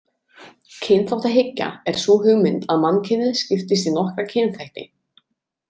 Kynþáttahyggja er sú hugmynd að mannkynið skiptist í nokkra kynþætti.